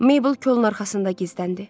Maybel kolun arxasında gizləndi.